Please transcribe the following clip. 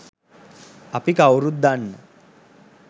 අපි කව්රුත් දන්න